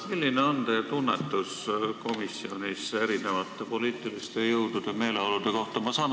Milline on teie tunnetus komisjonis erinevate poliitiliste jõudude meeleolude kohta?